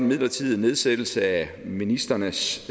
midlertidige nedsættelse af ministrenes